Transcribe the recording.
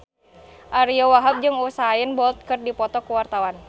Ariyo Wahab jeung Usain Bolt keur dipoto ku wartawan